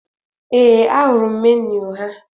Ee, ahụrụ m meniu ha